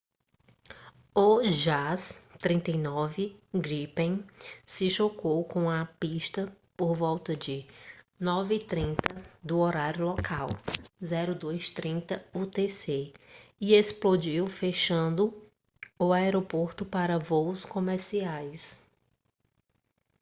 o jas 39 gripen se chocou com a pista por volta de 9:30 do horário local 0230 utc e explodiu fechando o aeroporto para voos comerciais